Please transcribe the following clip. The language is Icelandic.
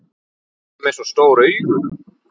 Og með svona stór augu.